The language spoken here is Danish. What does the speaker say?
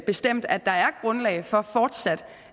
bestemt at der er grundlag for fortsat